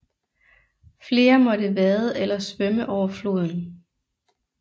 Flere måtte vade eller svømme over floden